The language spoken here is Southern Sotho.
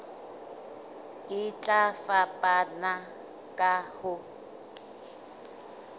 e tla fapana ka ho